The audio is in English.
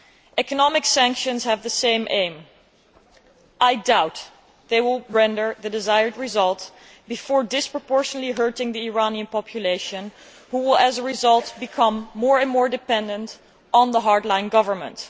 Economic sanctions have the same aim. I doubt they will render the desired result before disproportionately hurting the people of Iran who, as a result, become more and more dependent on the hard line government.